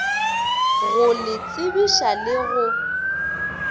go le tsebiša le go